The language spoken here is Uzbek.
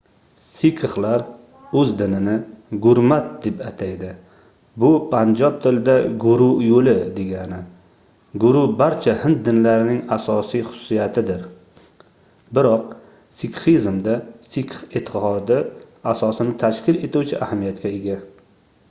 sikxlar oʻz dinini gurmat deb ataydi bu panjob tilida guru yoʻli degani guru barcha hind dinlarining asosiy xususiyatidir biroq sikxizmda sikx eʼtiqodi asosini tashkil etuvchi ahamiyatga ega